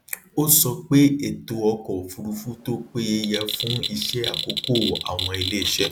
ó sọ pé ètò ọkọ òfurufú tó péye yẹ fún iṣe àkókò àwọn iléiṣẹ